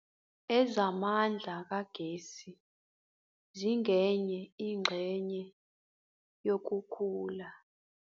Ezamandla kagesi zingenye ingxenye yokukhula.